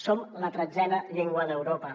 som la tretzena llengua d’europa